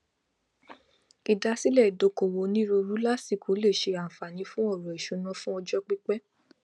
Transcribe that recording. ìdasílẹ ìdókòwó oniruuru lasikó lè ṣe ànfààni fún ọrọ ìṣúná fun ọjọ pípẹ